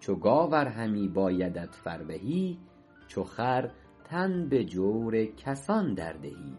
چو گاو ار همی بایدت فربهی چو خر تن به جور کسان در دهی